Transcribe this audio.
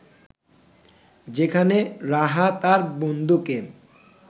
যেখানে রাহা তার বন্ধুকে